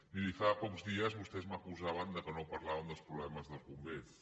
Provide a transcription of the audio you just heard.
miri fa pocs dies vostès m’acusaven que no parlàvem dels problemes dels bombers